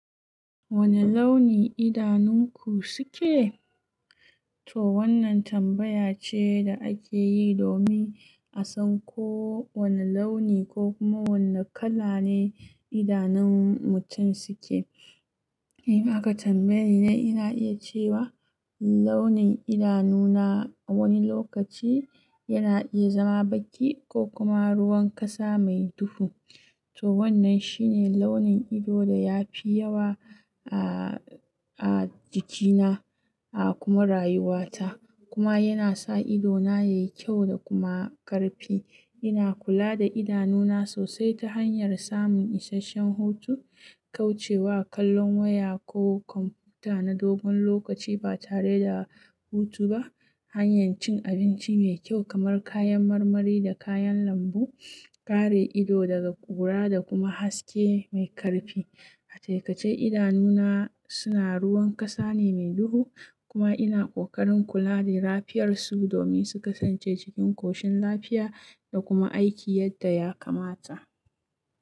Wane launi idanunku suke? To wannan tambaya ce da ake yi domin a san ko wane launi ko kuma wane kala ne idanun mutum suke. In aka tambaye ni ina iya cewa launin idanuna a wani lokaci yana iya zama baki ko kuma ruwan ƙasa mai duhu. To wannan shine launin ido da ya fi yawa a, a jikina a kuma rayuwata. Kuma yana sa idona yayi kyau da kuma ƙarfi. Ina kula da idanuna sosai ta hanyar samun isasshen hutu, kauce wa kallon waya ko kwamfuta na dogon lokaci ba tare da hutu ba, hanyar cin abinci mai kyau kamar kayan marmari da kayan lambu, kare ido daga ƙura da kuma haske mai karfi. A ce taƙaice idanuna suna ruwan ƙasa ne mai duhu kuma ina ƙoƙarin kula da lafiyar su domin su kasance cikin koshin lafiya da kuma aiki yadda ya kamata.